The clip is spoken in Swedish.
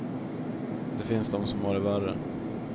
Det finns de som har det värre.